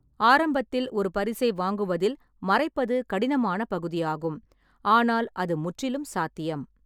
ஆரம்பத்தில் ஒரு பரிசை வாங்குவதில் மறைப்பது கடினமான பகுதியாகும், ஆனால் அது முற்றிலும் சாத்தியம்.